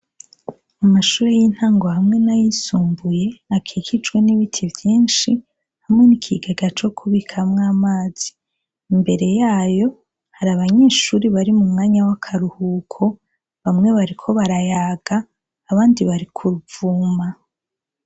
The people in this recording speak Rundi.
Mu mashure y'intango hamwe n'ayisumbuye, akikijwe n'ibiti vyinshi, hamwe n'ikigega kubikamwo amazi, imbere yayo hari abanyeshure bari mu karuhuko bamwe bariko barayaga, abandi bari kuruvuma.